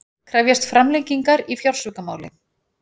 Krefjast framlengingar í fjársvikamáli